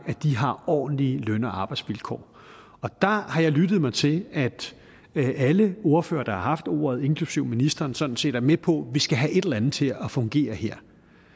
har ordentlige løn og arbejdsvilkår og der har jeg lyttet mig til at alle ordførere der har haft ordet inklusive ministeren sådan set er med på at vi skal have et eller andet til at fungere her